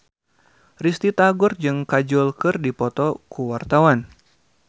Risty Tagor jeung Kajol keur dipoto ku wartawan